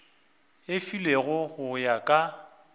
e filwego go ya ka